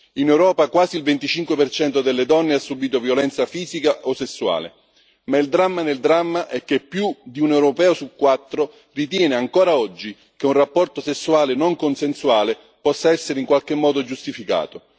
In Europa quasi il 25 delle donne ha subito violenza fisica o sessuale, ma il dramma nel dramma è che più di un europeo su quattro ritiene ancora oggi che un rapporto sessuale non consensuale possa essere in qualche modo giustificato.